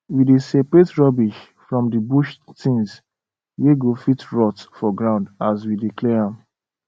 we dey separate rubbish from the bush things wey go fit rot for ground as we dey clear